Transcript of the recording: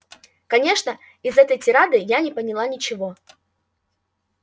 конечно из этой тирады я не поняла ничего